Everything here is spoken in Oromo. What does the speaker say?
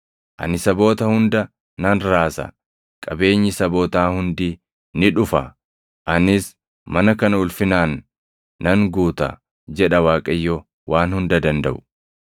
Ani saboota hunda nan raasa; qabeenyi sabootaa hundi ni dhufa; anis mana kana ulfinaan nan guuta’ jedha Waaqayyo Waan Hunda Dandaʼu.